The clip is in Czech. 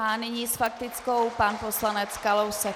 A nyní s faktickou pan poslanec Kalousek.